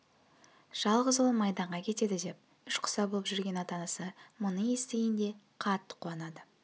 жалғыз ұлы майданға кетеді деп ішіқұса болып жүрген ата-анасы мұны естігенде қатты қуанады